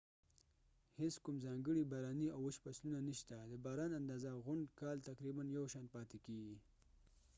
هیڅ کوم ځانګړی باراني او وچ فصلونه نشته د باران اندازه غونډ کال تقریباً یو شان پاتې کیږي